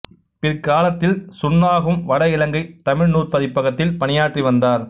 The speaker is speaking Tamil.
பிற்காலத்தில் சுன்னாகம் வட இலங்கைத் தமிழ்நூற் பதிப்பகத்தில் பணியாற்றி வந்தார்